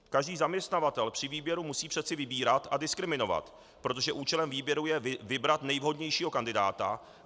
Každý zaměstnavatel při výběru musí přeci vybírat a diskriminovat, protože účelem výběru je vybrat nejvhodnějšího kandidáta.